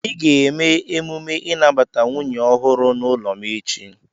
Ị ga-eme emume inabata nwunye ọhụrụ n'ụlọ m echi!